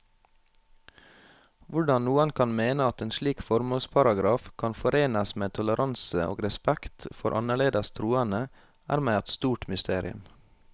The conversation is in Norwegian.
Hvordan noen kan mene at en slik formålsparagraf kan forenes med toleranse og respekt for annerledes troende, er meg et stort mysterium.